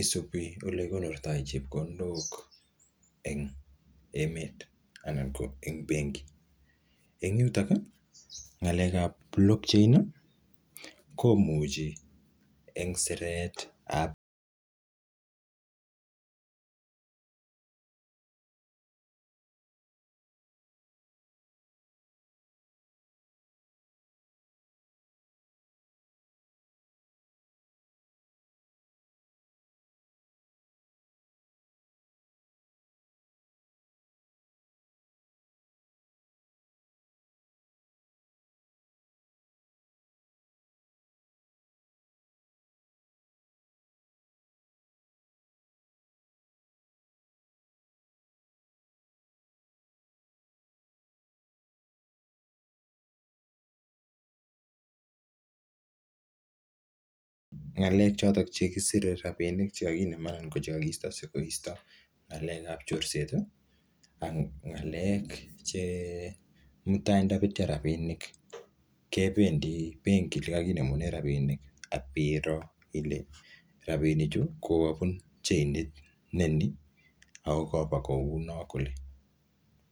isubi ole kikonorto chepkondok eng emet anan ko eng benki, eng yuton ngalekab Blockchain ko mucho eng siretab ngalrk choton chekisire rapinik chekakinen anan ko chekakisto ,sikoisyo ngalekab chorset anan ngalekab che mutai ndobetyo rapinik kebendi benki yekakinemunen rapinik ak biroo ,Ile rapinichu kokabun cheinit nenin ,ako kaba kounon kole.